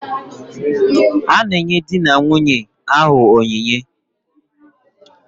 A na-enye di na nwunye ahụ onyinye.